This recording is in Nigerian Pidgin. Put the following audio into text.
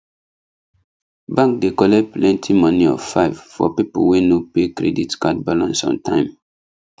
bank dey collect plenty money of 5 for people wey no pay credit card balnace on time